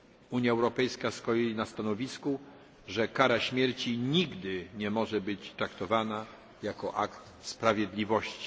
Unia Europejska stoi na stanowisku, że kara śmierci nigdy nie może być traktowana jako akt sprawiedliwości.